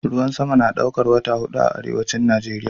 Ruwan sama na daukar wata hudu a Arewacin Nijeriya.